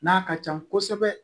N'a ka can kosɛbɛ